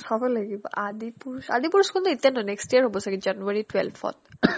চাব লাগিব আদিপুৰুস আদিপুৰুসখন এতিয়াৰ নহয় next year হ'ব ছাগে january twelve ত